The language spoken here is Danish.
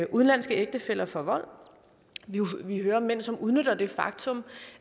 udenlandske ægtefæller for vold vi hører om mænd som udnytter det faktum